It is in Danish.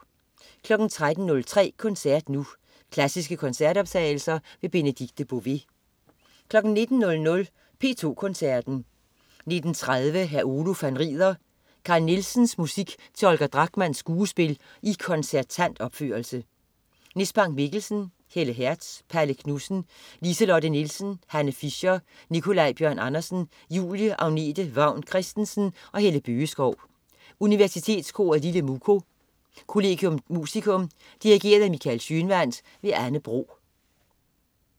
13.03 Koncert Nu. Klassiske koncertoptagelser. Benedikte Bové 19.00 P2 Koncerten. 19.30 Hr. Oluf han rider. Carl Nielsens musik til Holger Drachmanns skuespil i koncertant opførelse. Nis Bank Mikkelsen, Helle Hertz, Palle Knudsen, Lise-Lotte Nielsen, Hanne Fischer, Nikolaj Bjørn Andersen, Julie Agnete Vang Christensen og Helle Bøgeskov. Universitetskoret Lille Muko. Collegium Musicum. Dirigent: Michael Schønwandt. Anne Bro